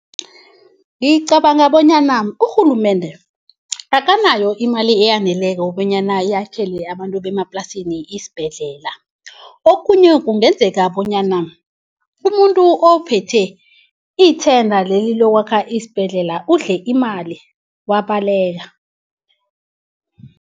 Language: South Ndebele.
Ngicabanga bonyana urhulumende akanayo imali eyaneleko bonyana iyakhele abantu bemaplasini isibhedlela. Okunye kungenzeka bonyana umuntu ophethe ithenda leli lokwakha isibhedlela udle imali wabaleka.